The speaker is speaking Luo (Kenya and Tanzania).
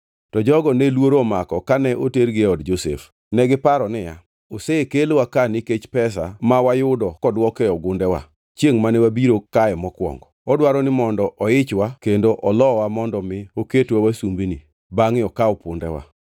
To jogo ne luoro omako kane otergi e od Josef. Negiparo niya, “Osekelwa ka nikech pesa ma wayudo koduok e ogundewa, chiengʼ mane wabiro kae mokwongo. Odwaro ni mondo oichwa kendo olowa mondo mi oketwa wasumbini, bangʼe okaw pundewa.”